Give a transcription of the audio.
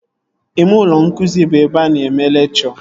Ime ụlọ nkụzi bụ ebe a na-eme lekchọ